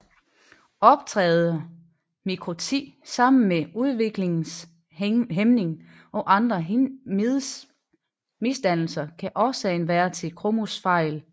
Optræder mikroti sammen med udviklingshæmning og andre misdannelser kan årsagen være en kromosomfejl